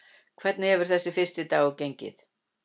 Hvernig hefur þessi fyrsti dagur gengið?